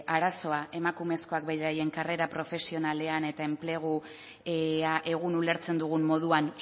arazoa emakumezkoak beraien karrera profesionalean eta enplegu egun ulertzen dugun moduan